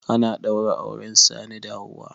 Ana ɗaura auren Sani da Hauwa.